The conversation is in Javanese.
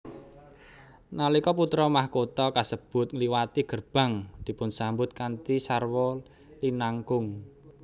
Nalika putra mahkota kasebut ngliwati gerbang dipunsambut kanthi sarwa linangkung